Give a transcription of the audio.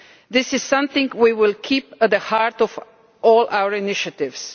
This is something we will keep at the heart of all our initiatives.